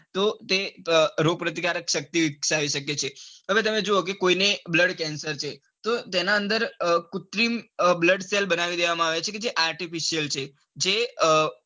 તો તે રોગ પ્રતિકારક શક્તિ વિકસાવે છે હવે તમે જોવો કે કોઈક લોકો ને blood cancer છે તો તેના અંદર કુત્રિમ blood cells બનાવી દેવામાં આવે છે. જે artificial છે કે જે અ,